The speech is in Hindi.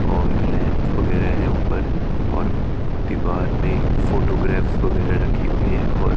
और लैंप वगैरा है ऊपर और दीवार में फोटोग्राफ्स वगैरा रखी हुई हैं और--